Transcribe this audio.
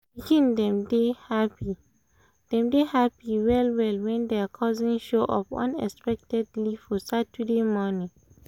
the pikin dem dey happy dem dey happy well well when their cousins show up unexpectedly for saturday morning